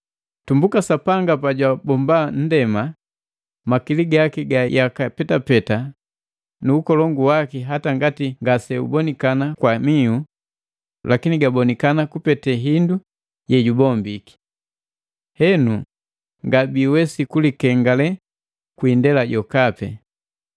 Tumbuka Sapanga pa jwabomba nndema, makili gaki ga yaka petapeta nu ukolongu waki hata ngati ngase ubonikana kwa mihu, lakini gabonikana kupete hindu yejubombiki. Henu ngabiiwesi kulikengale kwi indela jokapi.